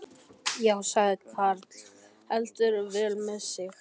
Já, sagði karl heldur vel með sig.